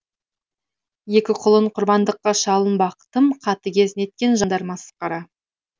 екі құлын құрбандыққа шалынбақ тым қатыгез неткен жандар масқара